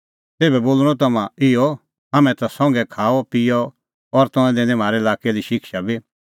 तेभै बोल़णअ तम्हां इहअ हाम्हैं ता संघै खाअपिअ और तंऐं दैनी ती म्हारै लाक्कै दी शिक्षा बी